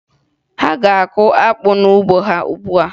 Ha na-akụ akpụ n'ugbo ha ugbua